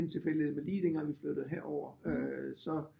Lidt en tilfældighed men lige dengang vi flyttede herover så